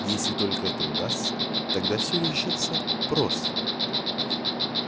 если только это удастся тогда всё решится просто